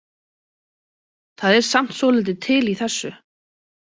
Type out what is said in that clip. Það er samt svolítið til í þessu.